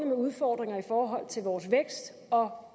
med udfordringer i forhold til vores vækst og